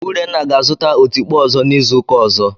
Urenna ga-azụta otikpo ọzọ n'izu ụka ọzọ.